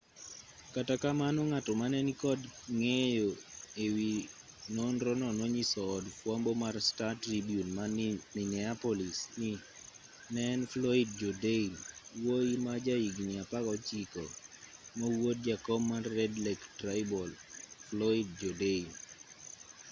kata kamano ng'ato mane ni kod ng'eyo e wi nonrono nonyiso od fwambo mar star-tribune ma minneapolis ni ne en floyd jourdain wuoyi ma ja higni 16 ma wuod jakom mar red lake tribal floyd jourdain